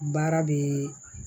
Baara bɛ